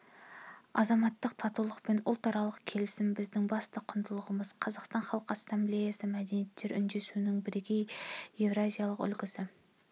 азаматтық татулық пен ұлтаралық келісім біздің басты құндылығымыз қазақстан халқы ассамблеясы мәдениеттер үндесуінің бірегей еуразиялық үлгісі